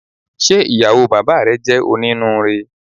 Ṣe ìyàwó bàbáà rẹ jẹ oninuure?